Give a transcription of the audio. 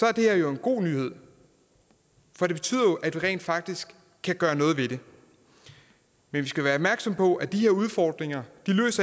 er det her jo en god nyhed for det betyder at vi rent faktisk kan gøre noget ved det men vi skal være opmærksomme på at de her udfordringer